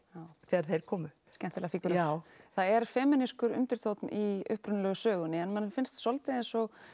þegar þeir komu já skemmtilegar fígúrur já það er femínískur undirtónn í upprunalegu sögunni en manni finnst svolítið eins og